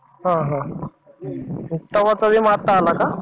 हा हा. मग तेव्हाच विमा आता आला का?